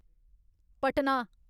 Patna